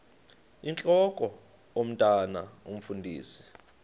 intlok omntwan omfundisi